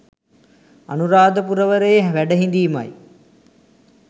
අනුරාධපුරවරයේ වැඩහිඳීමයි.